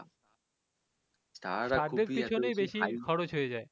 তাদের পিছননেই বেশি খরচ হয়ে যায়